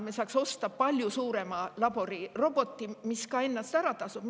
Me saaksime osta siis palju suurema laboriroboti, mis ennast ka ära tasuks.